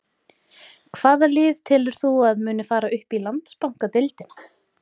Hvaða lið telur þú að muni fara upp í Landsbankadeildina?